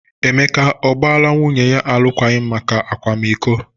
Emeka ọ gbaala nwunye alụkwaghịm maka akwamiko?